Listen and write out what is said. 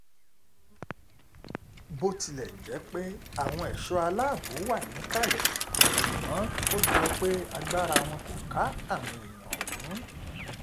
bó tilẹ̀ jẹ́ pé àwọn ẹ̀ṣọ́ aláàbò wà níkàlẹ̀ ṣùgbọ́n ó jọ pé agbára wọn kò ká àwọn èèyàn ọ̀hún